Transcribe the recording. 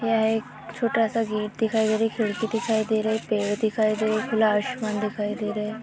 यह एक छोटा सा गेट दिखाई दे रहा है। खिड़की दिखाई दे रही। पेड़ दिखाई दे रहे। खुला आसमान दिखाई दे रहे है।